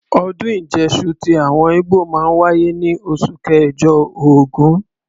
Ọdún Ìjẹ́ṣu ti àwọn ígbò máa ń wáyé ní oṣù kẹ̀jọ(ògún).